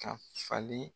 Ka falen